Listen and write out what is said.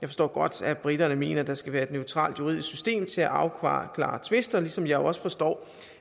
forstår godt at briterne mener at der skal være et neutralt juridisk system til at afklare tvister ligesom jeg jo også forstår